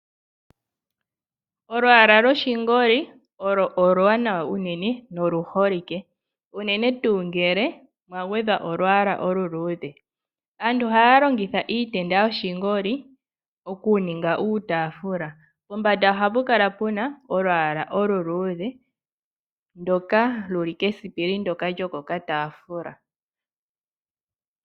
Olwaala lwoshingoli olwo oluwanawa unene noluholike unene unene tuu ngele mwa gwedhwa olwaala oluluudhe. Aantu ohaya longitha iitenda yoshingoli okuninga uutaafula